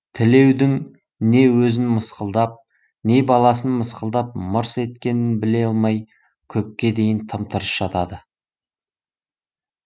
тілеудің не өзін мысқылдап не баласын мысқылдап мырс еткенін біле алмай көпке дейін тым тырыс жатады